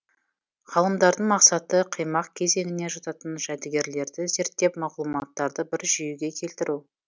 ғалымдардың мақсаты қимақ кезеңіне жататын жәдігерлерді зерттеп мағлұматтарды бір жүйеге келтіру